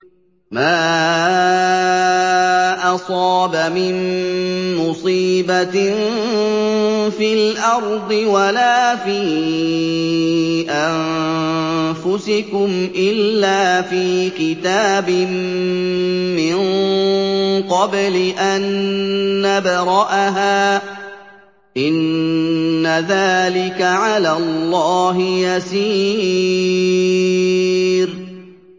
مَا أَصَابَ مِن مُّصِيبَةٍ فِي الْأَرْضِ وَلَا فِي أَنفُسِكُمْ إِلَّا فِي كِتَابٍ مِّن قَبْلِ أَن نَّبْرَأَهَا ۚ إِنَّ ذَٰلِكَ عَلَى اللَّهِ يَسِيرٌ